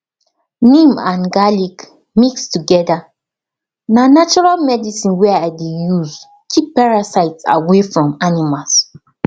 neem and garlic mix together na natural medicine wey i dey use keep parasite away from animals